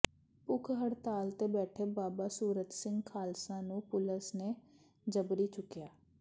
ਭੁੱਖ ਹੜਤਾਲ ਤੇ ਬੈਠੇ ਬਾਬਾ ਸੂਰਤ ਸਿੰਘ ਖਾਲਸਾ ਨੂੰ ਪੁਲਸ ਨੇ ਜਬਰੀ ਚੁੱਕਿਆ